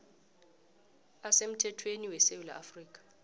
asemthethweni wesewula afrika